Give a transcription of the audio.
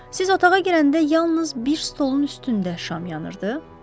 Siz otağa girəndə yalnız bir stolun üstündə şam yanırdı?